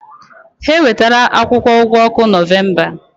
Ha ewetala akwụkwọ ụgwọ ọkụ Nọvemba.